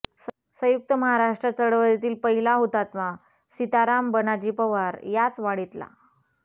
संयुक्त महाराष्ट्र चळवळीतील पहिला हुतात्मा सीताराम बनाजी पवार याच वाडीतला